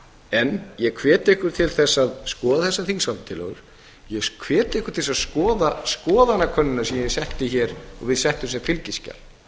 en ég hvet ykkur til þess að skoða þessa þingsályktunartillögu ég hvet ykkur til að skoða skoðanakönnunina sem við settum sem fylgiskjal